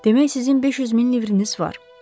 Demək sizin 500 min livriniz var.